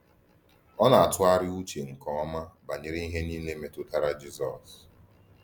Ọ na-atụgharị uche nke ọma banyere ihe niile metụtara Jisọs.